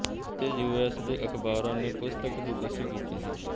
ਅਤੇ U S ਦੇ ਅਖ਼ਬਾਰਾਂ ਨੇ ਪੁਸਤਕ ਦੀ ਪੁਸ਼ਟੀ ਕੀਤੀ ਸੀ